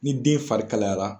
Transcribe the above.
Ni den fari kalayara